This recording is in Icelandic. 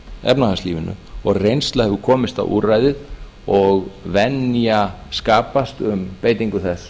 efnahagslífinu og reynsla hefur komist á úrræðið og venja skapast um beitingu þess